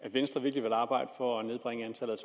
at venstre virkelig vil arbejde for at nedbringe antallet